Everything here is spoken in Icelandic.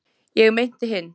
ég meinti hinn.